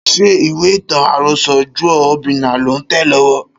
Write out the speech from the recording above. Ṣé ìwé ìtàn àrọsọ Juọ Obinna lò ń tẹ̀ lọ́wọ́?